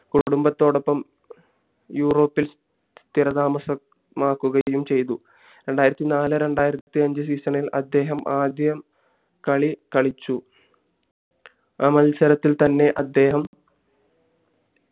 കുടുംബത്തോടപ്പം യൂറോപ്പിൽ സ്ഥിരതാമസമാക്കുകയും ചെയ്തു രണ്ടായിരത്തി നാല് രണ്ടായിരത്തി അഞ്ചു season ഇൽ അദ്ദേഹം ആദ്യ കളി കളിച്ചു ആ മത്സരത്തിൽ തന്നെ അദ്ദേഹം